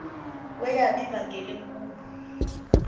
kweyab ivangeli enkulu